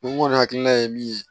N kɔni hakilina ye min ye